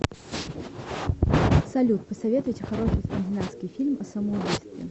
салют посоветуйте хороший скандинавский фильм о самоубийстве